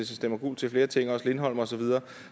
stemmer gult til flere ting også lindholm og så videre